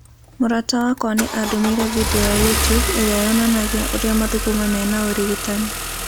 "Mũrata wakwa nĩ andũmĩire video ya YouTube ĩrĩa yonanagia ũrĩa mathugumo mena ũrigitan